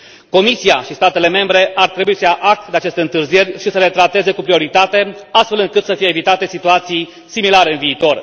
Comisia și statele membre ar trebui să ia act de aceste întârzieri și să le trateze cu prioritate, astfel încât să fie evitate situații similare în viitor.